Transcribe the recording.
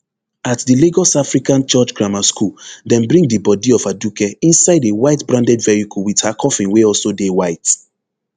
at di lagos african church grammar school dem bring di bodi of aduke inside a white branded vehicle wit her coffin wey also dey white